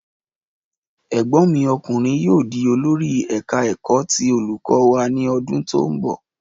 Ẹ̀gbọ́n mi ọkùnrin yóò di olori eka-eko ti olùkọ́ wa ní ọdún tó ń bọ̀.